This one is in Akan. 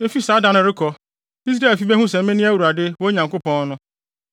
Efi saa da no rekɔ, Israelfi behu sɛ mene Awurade, wɔn Nyankopɔn no.